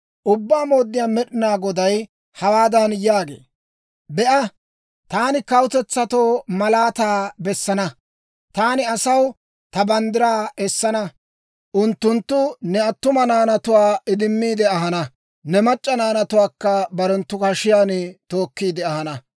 Ubbaa Mooddiyaa Med'inaa Goday hawaadan yaagee; «Be'a, taani kawutetsatoo malaataa bessana; taani asaw ta banddiraa essana. Unttunttu ne attuma naanatuwaa idimmi ahana; ne mac'c'a naanatuwaakka barenttu hashiyaan tookkiide ahana.